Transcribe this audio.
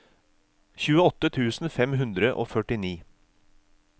tjueåtte tusen fem hundre og førtini